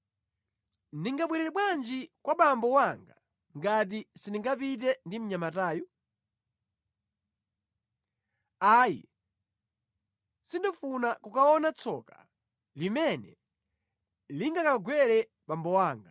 Ndingabwerere bwanji kwa abambo anga ngati sindingapite ndi mnyamatayu? Ayi! Sindifuna kukaona tsoka limene lingakagwere abambo anga.”